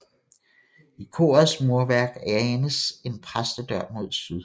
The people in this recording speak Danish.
I korets murværk anes en præstedør mod syd